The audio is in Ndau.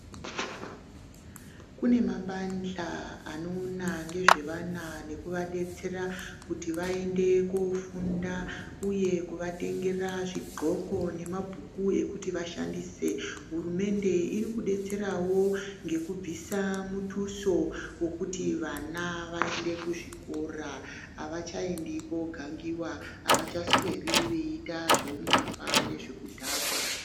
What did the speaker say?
Kune mabandhla anoona ngezvevana nekuvadetsera kuti vaende koofunda uye kuvatengera zvigxoko nemabhuku ekuti vashandise, hurumende irikudetserawo ngekubvisa mutuso wekuti vana vaende kuzvikora avachaendi koogangiwa, avachasweri veiita zveumbavha nezvekudhakwa.